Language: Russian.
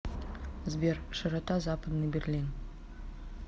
сбер широта западный берлин